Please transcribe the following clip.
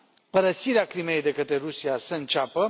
părăsirea Crimeii de către Rusia să înceapă.